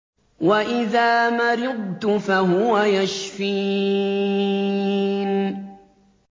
وَإِذَا مَرِضْتُ فَهُوَ يَشْفِينِ